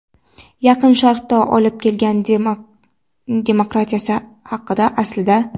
Yaqin Sharqqa olib kelgan demokratiyasi haqida, aslida.